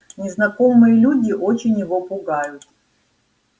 незнакомые люди очень его пугают